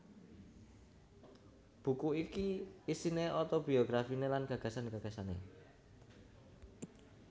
Buku iki isiné otobiografiné lan gagasan gagasané